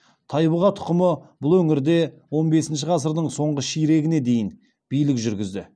тайбұға тұқымы бұл өңірде он бесінші ғасырдың соңғы ширегіне дейін билік жүргізді